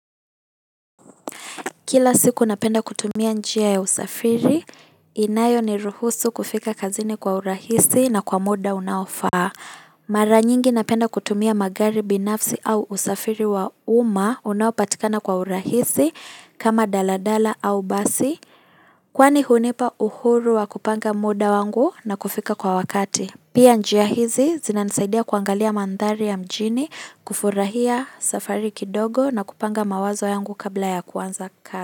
Kila siku napenda kutumia njia ya usafiri, inayoni ruhusu kufika kazini kwa urahisi na kwa muda unaofaa. Mara nyingi napenda kutumia magari binafsi au usafiri wa umma unaopatikana kwa urahisi kama dalala au basi kwani hunipa uhuru wa kupanga muda wangu na kufika kwa wakati. Pia njia hizi zinanisaidia kuangalia mandhari ya mjini, kufurahia safari kidogo na kupanga mawazo yangu kabla ya kuanza ka.